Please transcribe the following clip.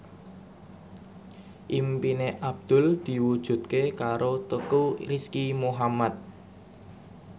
impine Abdul diwujudke karo Teuku Rizky Muhammad